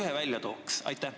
Too üks põhjus välja.